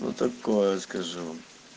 ну такое скажу